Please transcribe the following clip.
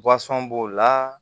b'o la